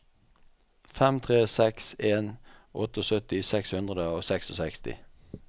fem tre seks en syttiåtte seks hundre og sekstiseks